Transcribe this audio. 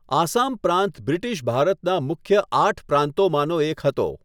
આસામ પ્રાંત બ્રિટિશ ભારતનાં મુખ્ય આઠ પ્રાંતોમાંનો એક હતો.